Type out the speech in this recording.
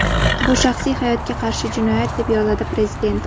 Bu shaxsiy hayotga qarshi jinoyat”, deb yozadi prezident.